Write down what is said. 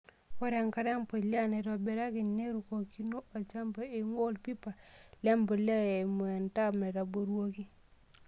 Ore enkare empulia naitobiraki nerukokino olchamba eing'ua olpipa lempulia eimu entap naitobiruaki.